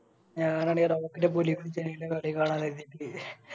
ഞാനാണെ കളി കാണാന്ന് കരുത്തിട്ട